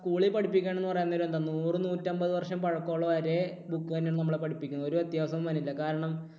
school ൽ പഠിപ്പിക്കണമെന്ന് പറയാൻ നേരം എന്താ നൂറ് നൂറ്റമ്പത് വർഷം പഴക്കമുള്ള ഒരേ book തന്നെയാണ് നമ്മളെ പഠിപ്പിക്കുന്നത്. ഒരു വ്യത്യാസവും വരുന്നില്ല. കാരണം